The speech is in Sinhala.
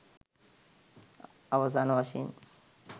අවසාන වශයෙන්